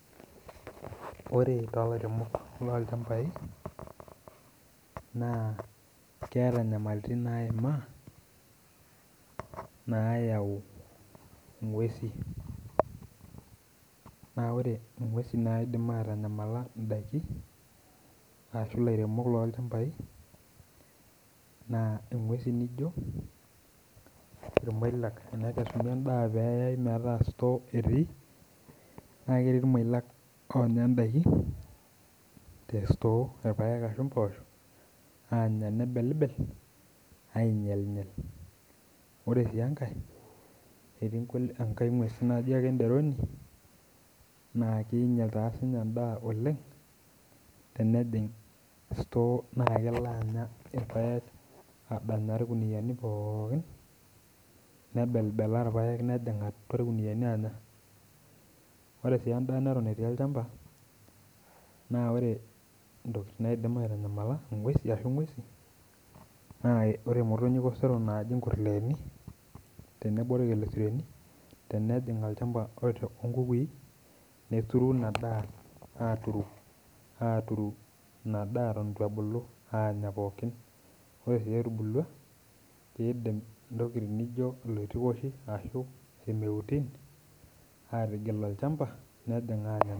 Ore ilairemok loo ilchambai naa keata inyamaliritin naimaa naayau inguesi, na ore inguesi naidim aitanyamala indaki ashu ilairemok loo ilchambai naa inguesi nijo noshi nayai endaa metaa esutoo etii, naa ketii koilak oinyal indaki te esutoo, irpaek ashu imposho aanya nebelibel, ainyal inyal. Ore sii enkae eti enkae inguesi naji ake inderoni naa keinyal taa sii ninye endaa oleng tenejing sutoo naa kelo ake aanya irpaek adanyaa ilkuniyani pookin, nebelbelaa irpaek nejing atua irkuniyani anya. Ore sii endaa neton etii olchamba naa ore intokitin naidim aitanyamala inguesi ashu engeusi naa ore motonyi eper sero naaji inkurleeni, tenebo olkelikeyeni tenejing olchamba onkukui, neturu inadaa aaturu inadaa eton ebulu aanya pookin, ore sii etubuluwa, keidim intokitin nijo oloitukochi ashu irmeuti aatigil olchamba nejing' aanya.